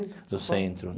No centro.